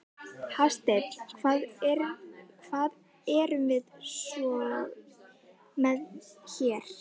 Hafsteinn: Hvað erum við svo með hér?